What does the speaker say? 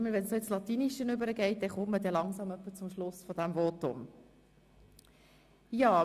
Jedes Mal, wenn lateinische Zitate genannt werden, nähern wir uns dem Ende des Votums.